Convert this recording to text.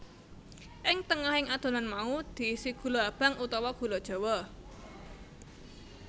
Ing tengahing adonan mau diisi gula abang utawa gula jawa